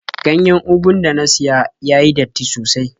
Ganyen ugun da na siya ya yi datti sosai.